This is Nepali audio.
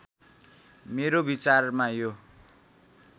मेरो विचारमा यो